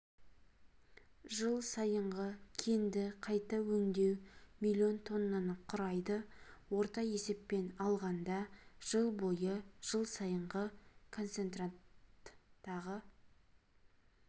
жыл сайынғы кенді қайта өңдеу миллион тоннаны құрайды орта есеппен алғанда жыл бойы жыл сайынғы концентраттағы